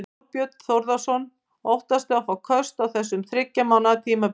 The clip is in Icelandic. Þorbjörn Þórðarson: Óttastu að fá köst á þessu þriggja mánaða tímabili?